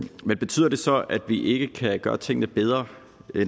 man betyder det så at vi ikke kan gøre tingene bedre